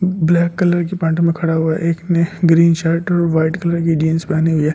Black colour की pant में खड़ा हुआ एक ने ग्रीन शर्ट और वाइट कलर की जीन्स पहनी हुई है।